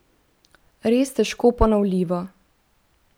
Res težko ponovljivo!